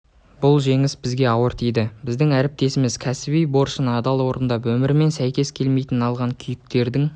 бұл жеңіс бізге ауыр тиді біздің әріптесіміз кәсіби борышын адал орындап өмірімен сәйкес келмейтін алған күйіктердің